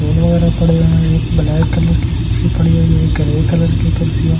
वगैरह पड़े हैं एक ब्लैक कलर की कुर्सी पड़ी हुई है एक ग्रे कलर की कुर्सी है।